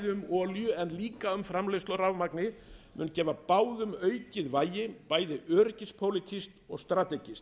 um olíu en líka um framleiðslu á rafmagni mun gefa báðum aukið vægi bæði öryggispólitískt og strategískt